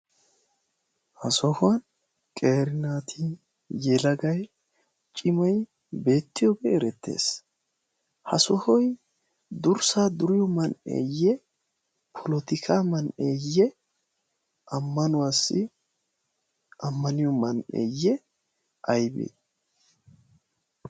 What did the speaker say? Ha sohuwan qeeri naati yelagay cimay beettitooge erettees. Ha sohoy durssaa duriyo man"eyye? Polotikka man"eyye? Ammanuwassi ammaniyo man"e aybbe?